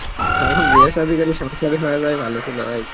তখন বিয়া সাদি করেই সংসারী হইয়া যাওয়াই ভালো ছিল ভাই